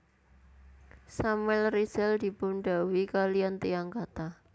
Samuel Rizal dipun dhawuhi kaliyan tiyang kathah